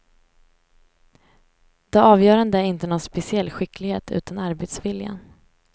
Det avgörande är inte någon speciell skicklighet, utan arbetsviljan.